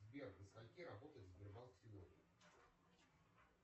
сбер до скольки работает сбербанк сегодня